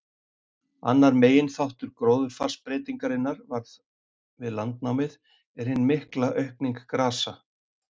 Annar meginþáttur gróðurfarsbreytingarinnar, sem varð við landnámið, er hin mikla aukning grasa.